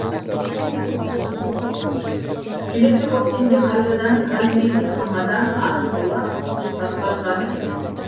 келесі көктемде қайтадан казвин хамадан арқылы кавказға кірген